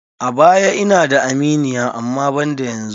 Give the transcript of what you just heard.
A baya ina da aminiya amma banda yanzu.